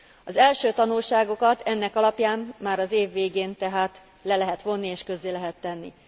Az első tanulságokat ennek alapján már az év végén tehát le lehet vonni és közzé lehet tenni.